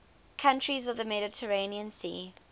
countries of the mediterranean sea